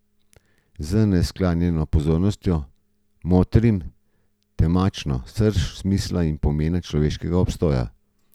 Z neskaljeno pozornostjo motrim temačno srž smisla in pomena človeškega obstoja.